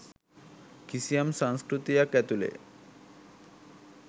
කිසියම් සංස්කෘතියක් ඇතුලේ.